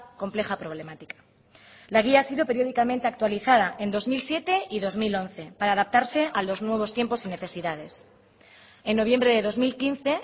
compleja problemática la guía ha sido periódicamente actualizada en dos mil siete y dos mil once para adaptarse a los nuevos tiempos y necesidades en noviembre de dos mil quince